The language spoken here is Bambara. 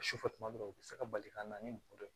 Sufɛ tuma dɔw la u bɛ se ka bali ka na ni mɔgɔ dɔ ye